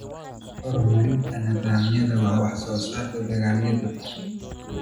Horumarinta Nidaamyada Qaybinta Wax-soo-saarka dalagyada.